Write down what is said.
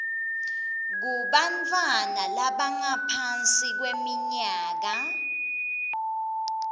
kubantfwana labangaphansi kweminyaka